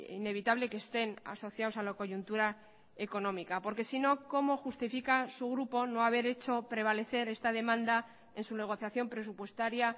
inevitable que estén asociados a la coyuntura económica porque si no cómo justifica su grupo no haber hecho prevalecer esta demanda en su negociación presupuestaria